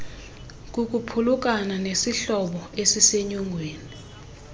kukuphulukana nesihlobo esisenyongweni